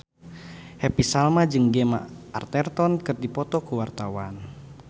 Happy Salma jeung Gemma Arterton keur dipoto ku wartawan